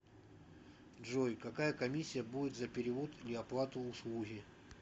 джой какая комиссия будет за перевод или оплату услуги